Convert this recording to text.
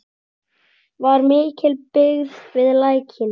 Var mikil byggð við Lækinn?